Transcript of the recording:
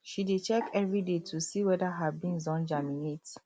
she dey check every day to see whether her beans don germinate